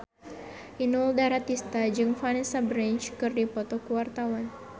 Inul Daratista jeung Vanessa Branch keur dipoto ku wartawan